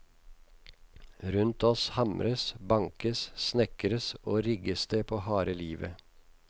Rundt oss hamres, bankes, snekres og rigges det på harde livet.